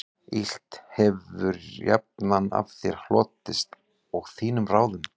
Illt hefir jafnan af þér hlotist og þínum ráðum